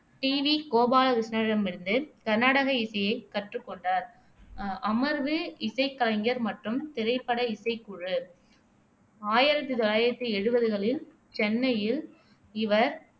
D. V. கோபாலகிருஷ்ணனிடமிருந்து கர்நாடக இசையைக் கற்றுக்கொண்டார் அமர்வு இசைக்கலைஞர் மற்றும் திரைப்பட இசைக்குழு ஆயிரத்தி தொள்ளாயிரத்தி எழுபதுகளில் சென்னையில் இவர்